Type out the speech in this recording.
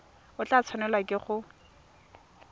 o tla tshwanelwa ke go